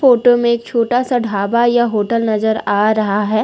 Photo में एक छोटा सा ढाबा या होटल नजर आ रहा है।